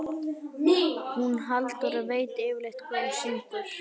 Hún Halldóra veit yfirleitt hvað hún syngur.